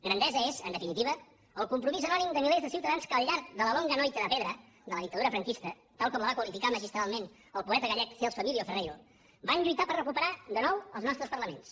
grandesa és en definitiva el compromís anònim de milers de ciutadans que al llarg de la longa noite de pedra de la dictadura franquista tal com la va qualificar magistralment el poeta gallec celso emilio ferreiro van lluitar per recuperar de nou els nostres parlaments